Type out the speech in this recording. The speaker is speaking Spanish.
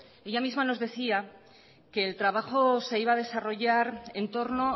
ella misma nos decía que el trabajo se iba a desarrollaren torno